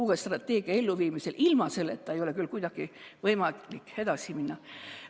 Uue strateegia elluviimisega ei ole ilma selleta küll kuidagi võimalik edasi minna.